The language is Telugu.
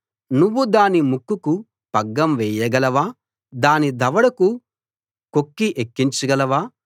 నువ్వు దాని ముక్కుకు పగ్గం వేయగలవా దాని దవడకు కొంకి ఎక్కించగలవా